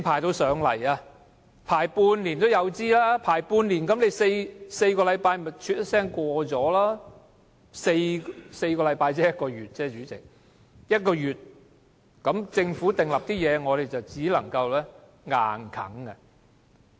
隨時要輪半年，但4個星期一轉眼就過去 ，4 個星期只是一個月而已，那麼，政府訂立的事項，我們只能被迫接受。